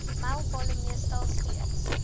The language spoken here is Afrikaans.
mylpale meestal steeds